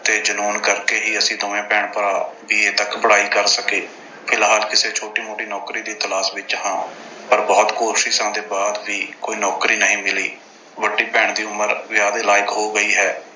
ਤੇ ਜਨੂੰਨ ਕਰਕੇ ਹੀ ਅਸੀਂ ਦੋਵੇਂ ਭੈਣ-ਭਰਾ B. A ਤੱਕ ਪੜ੍ਹਾਈ ਕਰ ਸਕੇ। ਫਿਲਹਾਲ ਕਿਸੇ ਛੋਟੀ ਮੋਟੀ ਨੌਕਰੀ ਦੀ ਤਲਾਸ਼ ਵਿੱਚ ਹਾਂ ਪਰ ਬਹੁਤ ਕੋਸ਼ਿਸ਼ਾਂ ਦੇ ਬਾਅਦ ਵੀ ਕੋਈ ਨੌਕਰੀ ਨਹੀਂ ਮਿਲੀ। ਵੱਡੀ ਭੈਣ ਦੀ ਉਮਰ ਵਿਆਹ ਦੇ ਲਾਇਕ ਹੋ ਗਈ ਹੈ।